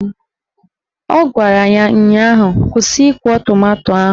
Ọ gwara ya ụnyaahụ "Kwụsị ịkwọ tomanto ahụ!"